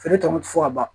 Feere tɔnɔ ti fɔ ka ban